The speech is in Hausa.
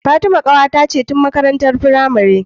Fatima kawata ce tun makarantar pramari